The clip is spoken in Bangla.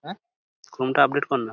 ক্রোম -টা আপডেট করনা।